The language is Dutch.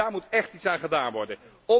En daar moet echt iets aan gedaan worden.